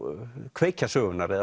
kveikja sögunnar eða